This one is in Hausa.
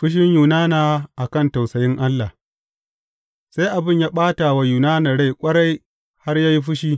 Fushin Yunana a kan tausayin Allah Sai abin ya ɓata wa Yunana rai ƙwarai har ya yi fushi.